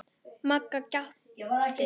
Magga gapti.